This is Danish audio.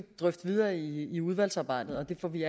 drøfte videre i i udvalgsarbejdet det får vi